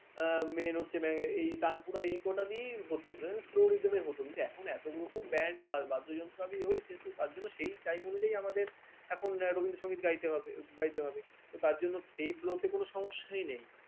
main হচ্ছে ইয়ে তানপুরা এই কটা দিয়েই হত Slow rythm হত এখন এত রকম band বাদ্যযন্ত্র আমি যেহেতু তার জন্য সেই time অনুযায়ী আমাদের এখন রবীন্দ্র সংগীত গাইতে হবে গাইতে হবে তার জন্য সেই flow কোন সমস্যাই নেই